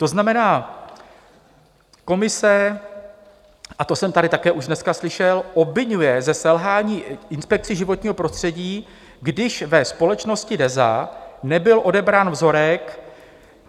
To znamená, komise - a to jsem tady také už dneska slyšel - obviňuje ze selhání Inspekci životního prostředí, když ve společnosti DEZA nebyl odebrán vzorek.